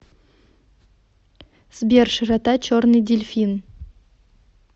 сбер широта черный дельфин